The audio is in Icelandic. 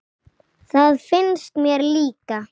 Það finnst mér líka.